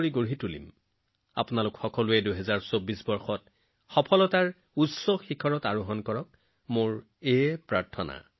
২০২৪ চনত আপোনালোক সকলোৱে সফলতাৰ নতুন উচ্চতাত উপনীত হওক সুস্থ ফিট আৰু অতি সুখী হৈ থাকক তাৰ বাবে মই প্ৰাৰ্থনা জনাইছো